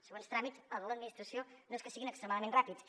següents tràmits a l’administració no és que siguin extremadament ràpids